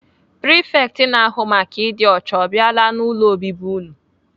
Prifekt na-ahụ maka ịdị ọcha ọ biala n'ụlọ obibi unu?